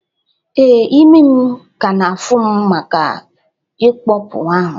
Ee, imi m ka na-afụ m maka ñkpọpu ahụ